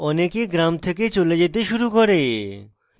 অনেকে গ্রাম থেকে চলে যেতে শুরু করে